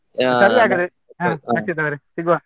ಹಾ ರಕ್ಷಿತ್ ಅವ್ರೆ ಸಿಗ್ವಾ?